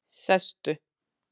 Sestu